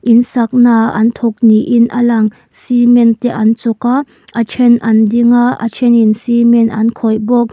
in saknaah an thawk niin a lang cement te an chawk a a ṭhen an ding a a ṭhenin cement an khawih bawk.